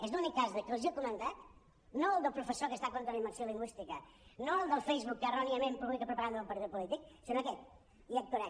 és l’únic cas dels que els he comentat no el del professor que està contra la immersió lingüística no el del facebook que erròniament publica propaganda d’un partit polític sinó aquest hi actuarem